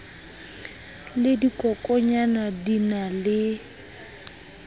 le dikokonyana di na le